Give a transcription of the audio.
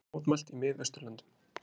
Mótmælt í Miðausturlöndum